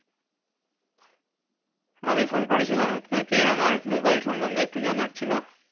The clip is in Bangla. আমি ফোন করেছিলাম আপনাকে আমার মোবাইল সন্বন্ধে একটু জানার ছিল।